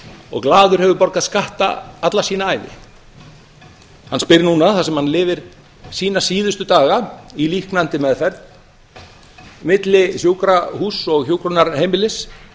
og glaður hefur borgað skatta alla sína ævi hann spyr núna þar sem hann lifir sína síðustu daga í líknandi meðferð milli sjúkrahúss og hjúkrunarheimilis